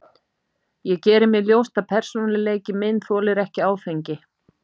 Ég geri mér ljóst að persónuleiki minn þolir ekki áfengi.